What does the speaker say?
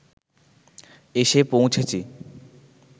এসে পৌঁছেছি